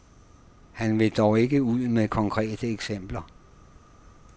Han vil dog ikke ud med konkrete eksempler.